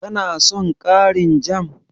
Ka na son ƙarin jam?